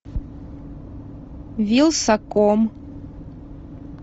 вилсаком